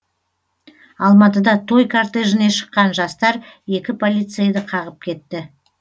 алматыда той кортежіне шыққан жастар екі полицейді қағып кетті